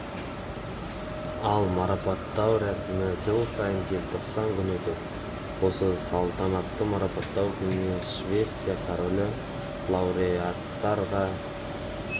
ал марапаттау рәсімі жыл сайын желтоқсан күні өтеді осы салтанатты марапаттау күнінде швеция королі лауреаттарға